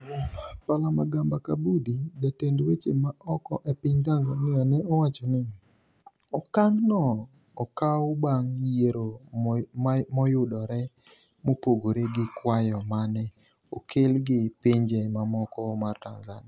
Palamagamba Kabudi, jatend weche ma oko e piny Tanzania ne owacho ni, "Okang' no okaw bang' yiero moyudore mopogre gi kwayo mane okel gi Pinje Mamoko mar Tanzania."